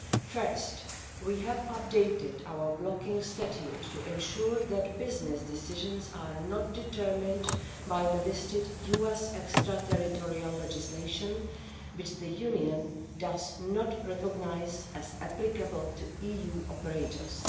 First, we have updated our blocking statute to ensure that business decisions are not determined by the listed US extra territorial legislation, which the Union does not recognise as applicable to EU operators.